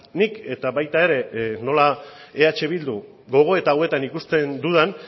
nik eta baita ere nola eh bildu gogoeta hauetan ikusten dudan